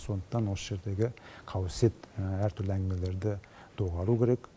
сондықтан осы жердегі қауесет әртүрлі әңгімелерді доғару керек